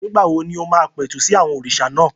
Nígbà wo ni o máa pẹ̀tù sí àwọn òrìṣà náà?